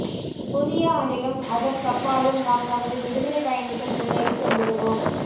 புதிய ஆண்டிலும் அதற்கப்பாலும் நாம் நமது விடுதலைப் பயணத்தில் முன்னேறிச் சென்றிடுவோம்